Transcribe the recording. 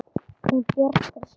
Hún bjargar sér.